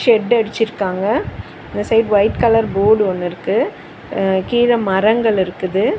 Shed அடிச்சிருக்காங்க இந்த side white colour board ஒன்னு இருக்கு அ கீழ மரங்கள் இருக்குது.